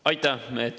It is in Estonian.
Aitäh!